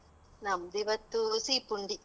ನಮ್ದ್ ಇವತ್ತು ಸೀ ಪುಂಡಿ.